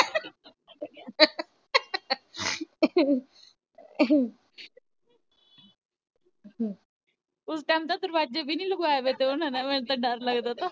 ਉਸ ਟਾਈਮ ਤਾਂ ਲਗਵਾਏ ਵੇ ਤੇ ਓਹਨਾ ਨੇ ਮੈਨੂੰ ਤਾਂ ਡਰ ਲਗਦਾ ਤਾਂ